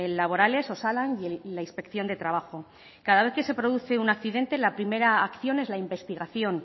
laborales osalan y la inspección de trabajo cada vez que se produce un accidente la primera acción es la investigación